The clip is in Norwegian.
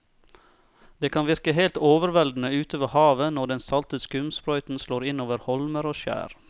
Det kan virke helt overveldende ute ved havet når den salte skumsprøyten slår innover holmer og skjær.